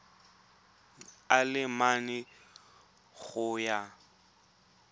a le mane go ya